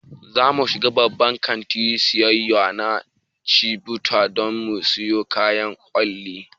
Zamu shiga babban kantin siyayya na Jifatu don mu siyo kayan kwalliya